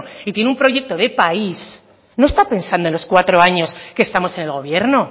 y tiene un proyecto de país no está pensando en los cuatro años que estamos en el gobierno